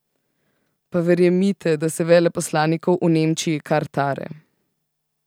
Pa verjemite, da se veleposlanikov v Nemčiji kar tare!